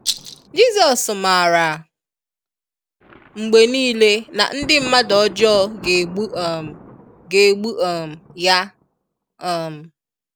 Jizọs maara mgbe niile na ndị mmadụ ọjọọ ga egbu um ga egbu um Ya. um